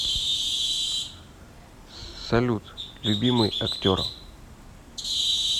салют любимый актер